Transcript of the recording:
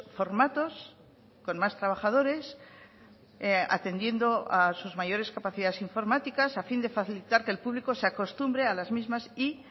formatos con más trabajadores atendiendo a sus mayores capacidades informáticas a fin de facilitar que el público se acostumbre a las mismas y